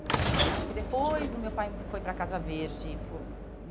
E acho que depois o meu pai foi para a Casa Verde.